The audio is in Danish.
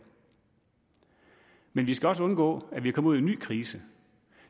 men vi skal også undgå at vi kommer en ny krise